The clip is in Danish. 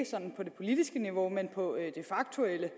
sådan på det politiske niveau men på det faktuelle